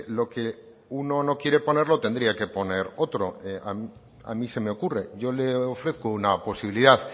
lo que uno no quiere poner lo tendría que poner otro a mí se me ocurre yo le ofrezco una posibilidad